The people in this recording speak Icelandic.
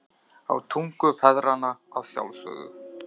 Á tungu feðranna að sjálfsögðu.